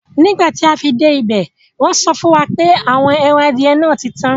Nígbàtí afi dẹ́ ibẹ̀, wọ́nsọ fúnwà pé àwọn èran adìẹ̀ náà títan.